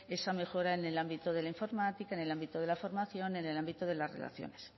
esa mejora en el ámbito de la informática en el ámbito de la formación en el ámbito de las relaciones